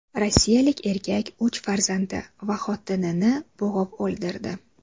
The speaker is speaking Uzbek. Rossiyalik erkak uch farzandi va xotinini bo‘g‘ib o‘ldirdi.